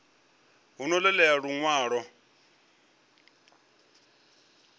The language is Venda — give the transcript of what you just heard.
hu ḓo ṱo ḓea luṅwalo